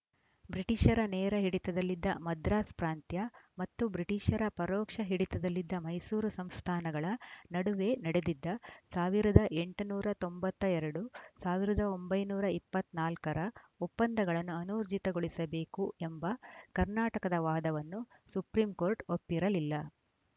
ಬ್ರಿಟಿಷರ ನೇರ ಹಿಡಿತದಲ್ಲಿದ್ದ ಮದ್ರಾಸ್‌ ಪ್ರಾಂತ್ಯ ಮತ್ತು ಬ್ರಿಟಿಷರ ಪರೋಕ್ಷ ಹಿಡಿತದಲ್ಲಿದ್ದ ಮೈಸೂರು ಸಂಸ್ಥಾನಗಳ ನಡುವೆ ನಡೆದಿದ್ದ ಸಾವಿರದ ಎಂಟುನೂರ ತೊಂಬತ್ತ್ ಎರಡು ಸಾವಿರದ ಒಂಬೈನೂರ ಇಪ್ಪತ್ತ್ ನಾಲ್ಕ ರ ಒಪ್ಪಂದಗಳನ್ನು ಅನೂರ್ಜಿತಗೊಳಿಸಬೇಕು ಎಂಬ ಕರ್ನಾಟಕದ ವಾದವನ್ನು ಸುಪ್ರೀಂಕೋರ್ಟ್‌ ಒಪ್ಪಿರಲಿಲ್ಲ